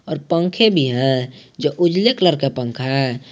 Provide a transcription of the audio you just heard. और पंखे भी हैं जो उजले कलर का पंखा है।